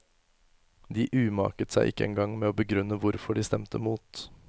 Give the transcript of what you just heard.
De umaket seg ikke engang med å begrunne hvorfor de stemte mot.